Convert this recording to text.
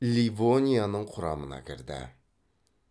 ливонияның кұрамына кірді